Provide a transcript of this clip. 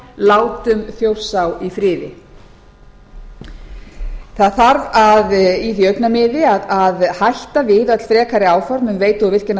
látum þjórsá í friði það þarf í því augnamiði að hætta við öll frekari áform um veitu